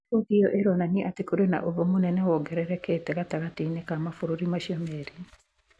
Riboti ĩo ĩronania atĩ kũrĩ na ũthũ mũnene wongererekete gatagatĩ-inĩ ka mabũrũri macio merĩ.